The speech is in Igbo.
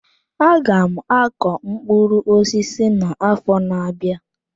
Aga m akọ mkpụrụ osisi na-afo n'abia.